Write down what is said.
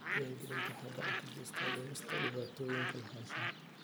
Diiwaangelintu waxay gacan ka geysataa dhimista dhibaatooyinka lahaanshaha.